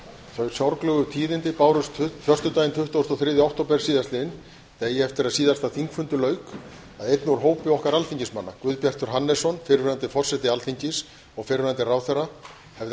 þau sorglegu tíðindi bárust föstudaginn tuttugasta og þriðja október síðastliðinn degi eftir að síðasta þingfundi lauk að einn úr hópi okkar alþingismanna guðbjartur hannesson fyrrverandi forseti alþingis og fyrrverandi ráðherra hefði